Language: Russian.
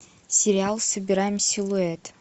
сериал собираем силуэт